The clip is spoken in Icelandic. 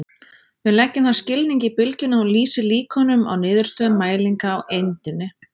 Við leggjum þann skilning í bylgjuna að hún lýsi líkunum á niðurstöðum mælinga á eindinni.